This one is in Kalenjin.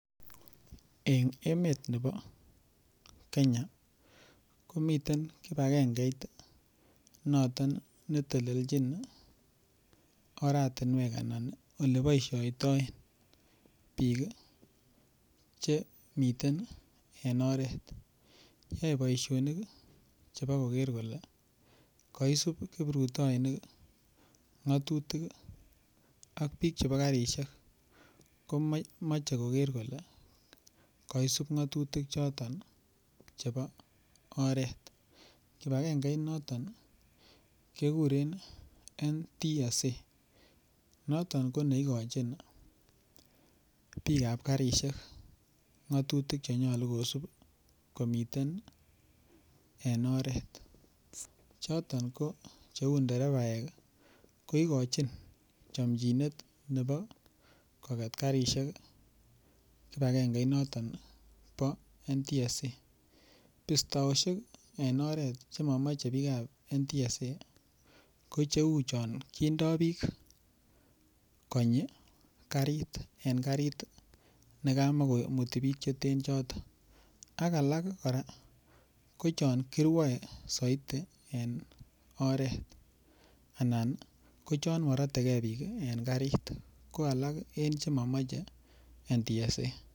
En emet nebo Kenya ko miten kibagengeit noton neteljin oratinwek Anan Ole boisioitoen bik Che miten en oret yoe boisionik Chebo koger kole kosub kiprutoinik ngatutik ak bik chebo karisiek ko moche koger kole kaisub ngatutik choton chebo mbar kibagenge I noton keguren NTSA noton ko neigochin bikap karisiek ngatutik Che nyolu kosub komiten en oret choton ko cheu nderebaek ko igochin chomjinet nebo koget karisiek kibagengeinoton bo NTSA bistoosiek Che momoche bik ab NTSA ko cheu chon kindo bik konyi karit en karit nekamo komuti bik Cheten choton ak alak kora ko chon kirwoe soiti en oret anan ko chon morote ge bik en karit ko alak en Che momoche NTSA